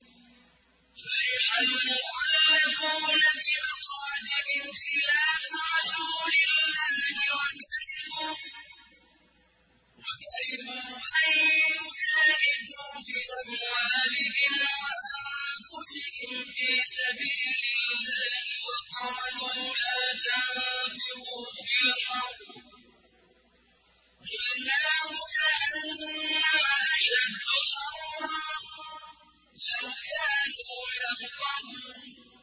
فَرِحَ الْمُخَلَّفُونَ بِمَقْعَدِهِمْ خِلَافَ رَسُولِ اللَّهِ وَكَرِهُوا أَن يُجَاهِدُوا بِأَمْوَالِهِمْ وَأَنفُسِهِمْ فِي سَبِيلِ اللَّهِ وَقَالُوا لَا تَنفِرُوا فِي الْحَرِّ ۗ قُلْ نَارُ جَهَنَّمَ أَشَدُّ حَرًّا ۚ لَّوْ كَانُوا يَفْقَهُونَ